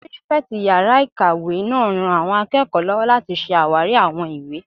Pírífẹ̀tì yàrá-ìkàwé náà ran àwọn akẹ́kọ̀ọ́ lọ́wọ́ láti ṣe àwárí àwọn ìwé